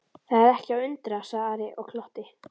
Það er ekki að undra, sagði Ari og glotti.